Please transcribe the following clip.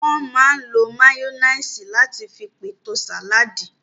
Wọ́n máa n lo máyóníìsì láti fi pèlò sàládì